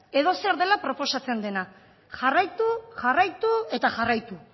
edozer dela proposatzen dela jarraitu jarraitu eta jarraitu